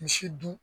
Misi dun